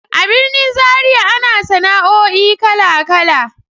A birnin Zariya ana sana'o'i kala-kala.